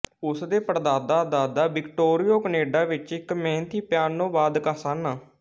ਉਸ ਦੇ ਪੜਦਾਦਾਦਾਦਾ ਵਿਕਟੋਰੀਆ ਕਨੇਡਾ ਵਿੱਚ ਇੱਕ ਮਿਹਨਤੀ ਪਿਆਨੋਵਾਦਕ ਸਨ